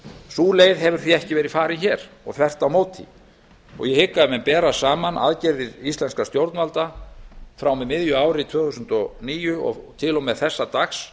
sú leið hefur því ekki verið farin hér og þvert á móti ég hygg að ef menn bera saman aðgerðir íslenskra stjórnvalda frá og með miðju ári tvö þúsund og níu og til og með þessa dags